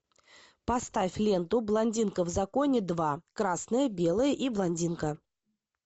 поставь ленту блондинка в законе два красное белое и блондинка